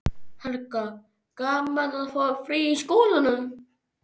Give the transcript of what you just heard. Helga: Gaman að fá frí í skólanum?